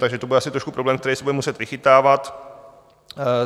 Takže to bude asi trošku problém, který se bude muset vychytávat.